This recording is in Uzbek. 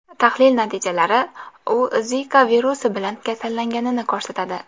Tahlil natijalari u Zika virusi bilan kasallanganini ko‘rsatadi.